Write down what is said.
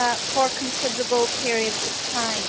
for considerable periods of time.